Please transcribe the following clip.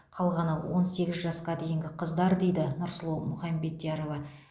қалғаны он сегіз жасқа дейінгі қыздар дейді нұрсұлу мұхамбетярова